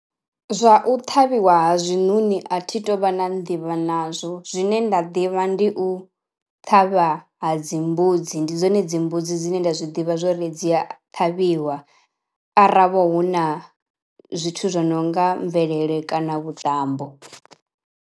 Zwa u ṱhavhiwa ha zwiṋoni a thi tu vha na nḓivho nazwo zwine nda ḓivha ndi u ṱhavha ha dzimbudzi ndi dzone dzimbudzi dzine nda zwi ḓivha zwori dzi a ṱhavhiwa ara ho vha hu na zwithu zwo no nga mvelele kana vhuṱambo.